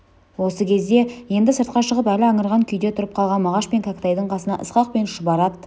осы кезде енді сыртқа шығып әлі аңырған күйде тұрып қалған мағаш пен кәкітайдың қасына ысқақ пен шұбар ат